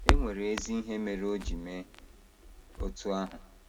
E nwere ezi ihe mere o ji mee otú ahụ.